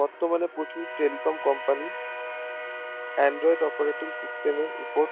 বর্তমানে প্রচুর telecom company android operating system এর ওপর